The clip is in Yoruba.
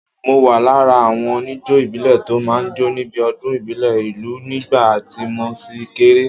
Mo wà lára àwọn oníjó ìbílẹ̀ tó máa ń jó níbi ọdún ìbílẹ̀ ìlú nígbà tí mo ṣì kéré.